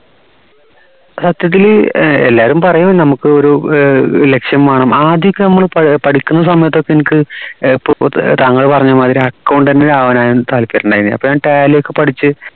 സത്യത്തില് ഏർ എല്ലാവരും പറയും നമുക്ക് ഒരു ഏർ ലക്ഷ്യം വേണം ആദ്യമൊക്കെ നമ്മൾ പഠിക്കുന്ന സമയത്ത് എനിക്ക് തങ്ങൾ പറഞ്ഞ മാതിരി accountant ആവാനായിരുന്നു താല്പര്യണ്ടായിരുന്നത് അപ്പോ ഞാൻ tally ഒക്കെ പഠിച്ച്